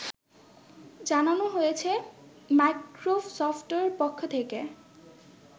জানানো হয়েছে মাইক্রোসফটের পক্ষ থেকে